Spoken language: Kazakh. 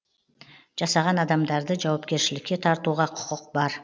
жасаған адамдарды жауапкершілікке тартуға құқық бар